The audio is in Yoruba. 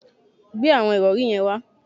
Gbe àwọn ìrọ̀rí yẹn wá